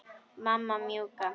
Mamma mjúka.